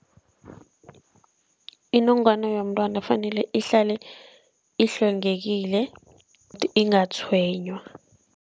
Inongwana yomntwana fanele ihlale ihlwengekile ingatshwenywa.